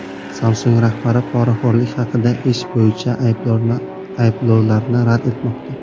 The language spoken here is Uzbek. Samsung rahbari poraxo‘rlik haqidagi ish bo‘yicha ayblovlarni rad etmoqda.